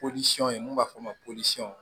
n'u b'a fɔ o ma ko